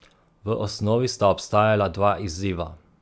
V osnovi sta obstajala dva izziva.